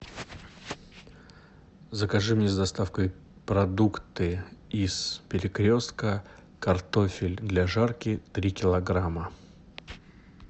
закажи мне с доставкой продукты из перекрестка картофель для жарки три килограмма